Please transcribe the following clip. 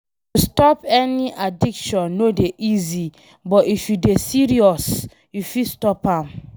To stop any addiction no dey easy but if you dey serious you fit stop.